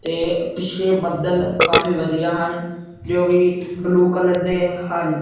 ਤੇ ਪਿੱਛੇ ਬੱਦਲ ਕਾਫੀ ਵਧੀਆ ਹਨ ਜੋ ਕਿ ਬਲੂ ਕਲਰ ਦੇ ਹਨ।